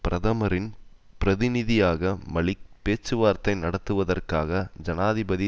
பிரதமரின் பிரதிநிதியான மலிக் பேச்சுவார்த்தை நடத்துவதற்காக ஜனாதிபதி